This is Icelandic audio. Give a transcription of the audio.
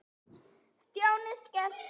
Stjáni skellti